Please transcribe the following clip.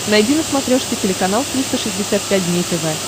найди на смотрешке телеканал триста шестьдесят пять дней тв